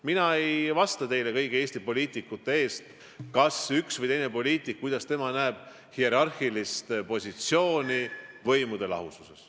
Mina ei vasta teile kõigi Eesti poliitikute eest, kuidas üks või teine poliitik näeb hierarhilist positsiooni võimude lahususes.